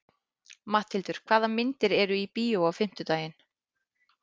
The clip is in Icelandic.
Matthildur, hvaða myndir eru í bíó á fimmtudaginn?